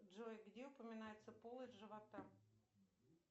джой где упоминается полость живота